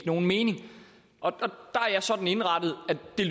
nogen mening og der er jeg sådan indrettet